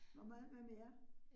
Hvor meget hvad med jer?